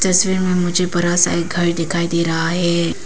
तस्वीर में मुझे बड़ा सा एक घर दिखाई दे रहा है।